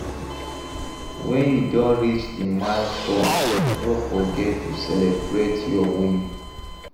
When you don reach di milestone no forget to celebrate your win